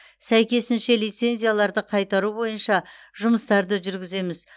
сәйкесінше лицензияларды қайтару бойынша жұмыстарды жүргіземіз